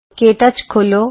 ਕੇ touch ਖੋਲ੍ਹੋ